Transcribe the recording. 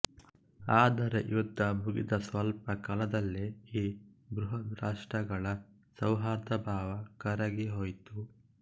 ಆದರೆ ಯುದ್ಧ ಮುಗಿದ ಸ್ವಲ್ಪ ಕಾಲದಲ್ಲೇ ಈ ಬೃಹದ್ರಾಷ್ಟ್ರಗಳ ಸೌಹಾರ್ದಭಾವ ಕರಗಿಹೋಯಿತು